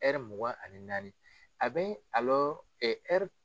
Hɛri mugan ani naani a bɛ